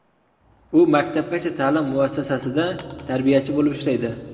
U maktabgacha ta’lim muassasasida tarbiyachi bo‘lib ishlaydi.